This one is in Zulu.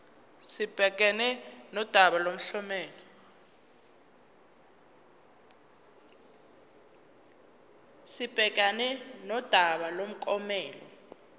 sibhekane nodaba lomklomelo